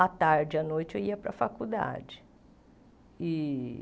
À tarde e à noite eu ia para a faculdade e.